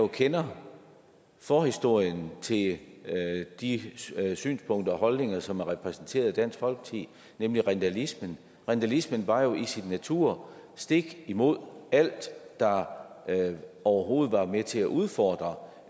kender forhistorien til de synspunkter og holdninger som er repræsenteret i dansk folkeparti nemlig rindalismen rindalismen var jo i sin natur stik imod alt der overhovedet var med til at udfordre